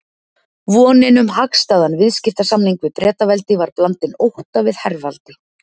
Vonin um hagstæðan viðskiptasamning við Bretaveldi var blandin ótta við herveldi